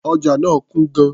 Ọjà náà kún gan-an.